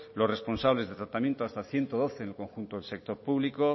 los responsables de tratamiento hasta ciento doce en el conjunto de sector público